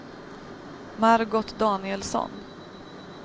Margot Danielsson